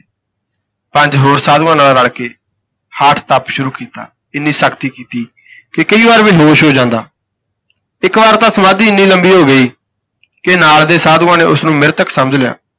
ਪੰਜ ਹੋਰ ਸਾਧੂਆਂ ਨਾਲ ਰਲ ਕੇ ਹਠ ਤਪ ਸ਼ੁਰੂ ਕੀਤਾ। ਇੰਨੀ ਸਖ਼ਤੀ ਕੀਤੀ ਕਿ ਕਈ ਵਾਰ ਬੇਹੋਸ਼ ਹੋ ਜਾਂਦਾ ਇੱਕ ਵਾਰ ਤਾਂ ਸਮਾਧੀ ਇੰਨੀ ਲੰਬੀ ਹੋ ਗਈ ਕਿ ਨਾਲ ਦੇ ਸਾਧੂਆਂ ਨੇ ਉਸਨੂੰ ਮ੍ਰਿਤਕ ਸਮਝ ਲਿਆ।